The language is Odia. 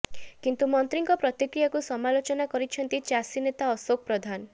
କିନ୍ତୁ ମନ୍ତ୍ରୀଙ୍କ ପ୍ରତିକ୍ରିୟାକୁ ସମାଲୋଚନା କରିଛନ୍ତି ଚାଷୀ ନେତା ଅଶୋକ ପ୍ରଧାନ